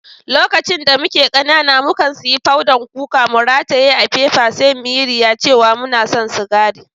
Lokacin da muke kanana, mu kan siyan fodan kuka, mu ratayye a'fefa sai mu yi riya cewa muna san sigari.